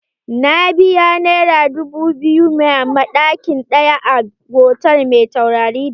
Na biya naira dubu biyu ma ɗaki ɗaya a hotal mai taurari biyar.